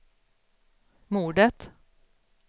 mordet